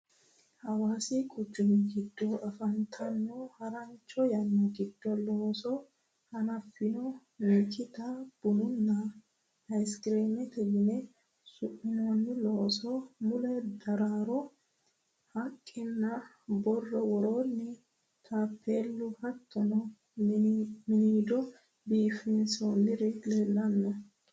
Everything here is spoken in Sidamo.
Hawaasi kuchumi giddo afantanno harancho yanna giddo looso hanaffino mikita bununna aysikireme yine su'minoonni looso mule daraaro haqqenna borro worroonni taappeelli hattono miniido biifinsori leellanno.